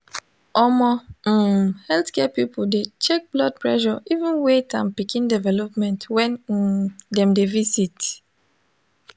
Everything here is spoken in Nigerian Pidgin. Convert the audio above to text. omo um healthcare people de check blood pressure even weight and pikin development when um dem de visit